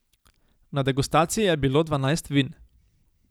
Na degustaciji je bilo dvanajst vin.